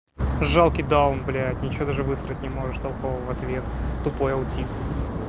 жалкий даун блять ничего даже высрать не может толкового в ответ тупой аутист